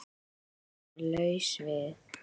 Að vera laus við